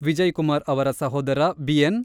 ವಿಜಯಕುಮಾರ್ ಅವರ ಸಹೋದರ ಬಿಎನ್.